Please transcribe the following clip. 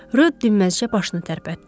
Rö dinməzcə başını tərpətdi.